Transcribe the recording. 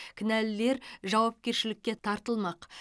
кінәлілер жауапкершілікке тартылмақ